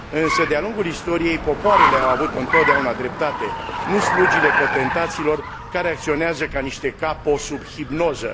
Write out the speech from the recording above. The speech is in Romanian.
Însă de a lungul istoriei popoarele au avut întotdeauna dreptate, nu slugile potentaților care acționează ca niște kapo sub hipnoză.